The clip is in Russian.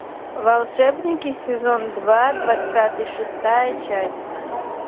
волшебники сезон два двадцатый шестая часть